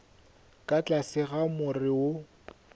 ka tlase ga more wo